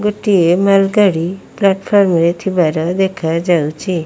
ଗୋଟିଏ ମାଲ୍ ଗାଡ଼ି ପ୍ଲାଟଫର୍ମ ରେ ଥିବାର ଦେଖାଯାଉଛି।